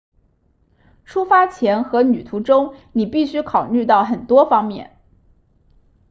出发前和旅途中你必须考虑到很多方面